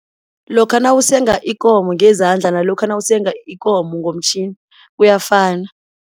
Lokha nawusenga ikomo ngezandla nalokha nawusenga ikomo ngomtjhini kuyafana.